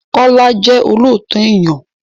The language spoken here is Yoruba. Kọ́lá jẹ́ olóòtọ èèyàn.